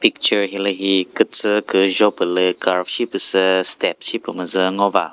picture hilühi kütsü küzho püh lü curve shi püh sü step shi kümüzü ngo va.